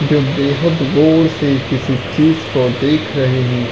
जो बेहत गोर से किसी चीज को देख रहे हैं।